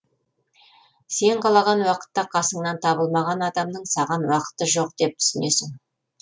сен қалаған уақытта қасыңнан табылмаған адамның саған уақыты жоқ деп түсінесің